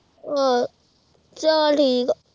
ਆਹ ਚਲ ਠੀਕ ਆਹ